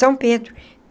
São Pedro.